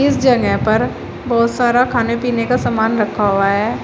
इस जगह पर बहोत सारा खाने पीने का समान रखा हुआ है।